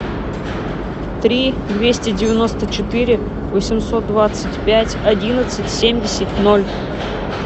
три двести девяносто четыре восемьсот двадцать пять одиннадцать семьдесят ноль